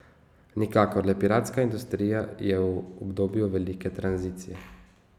Nikakor, le piratska industrija je v obdobju velike tranzicije.